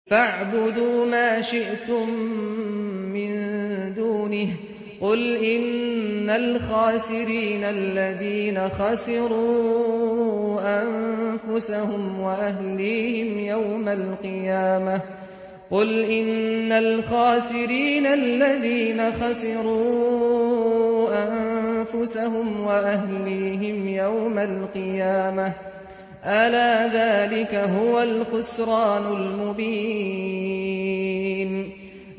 فَاعْبُدُوا مَا شِئْتُم مِّن دُونِهِ ۗ قُلْ إِنَّ الْخَاسِرِينَ الَّذِينَ خَسِرُوا أَنفُسَهُمْ وَأَهْلِيهِمْ يَوْمَ الْقِيَامَةِ ۗ أَلَا ذَٰلِكَ هُوَ الْخُسْرَانُ الْمُبِينُ